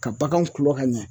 Ka baganw kulɔ ka ɲɛ